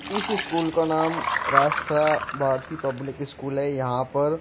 इस स्कूल का नाम राष्ट्रा भारती पब्लिक स्कूल है यहां पर --